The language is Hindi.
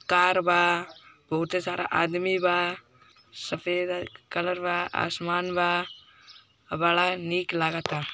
कार बाबहुते सारा आदमी बा सफेद कलर बा आसमान बा बड़ा निक लागत ता।